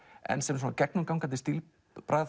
en sem gegnum gangandi stílbragð